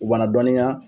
U b'an dɔnniya